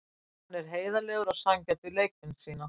Hann er heiðarlegur og sanngjarn við leikmenn sína.